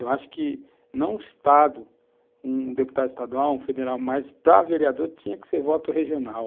Eu acho que não o Estado, um deputado estadual, um federal, mas para vereador tinha que ser voto regional.